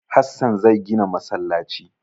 Hassan zai gina masallaci.